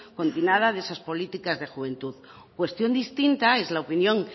de esas políticas de juventud cuestión distinta es la opinión